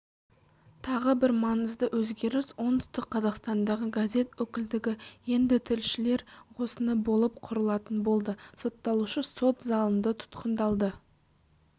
тағы бір маңызды өзгеріс оңтүстік қазақстандағы газетөкілдігі ендітілшілер қосыны болып құрылатын болды сотталушы сот залынды тұтқындалды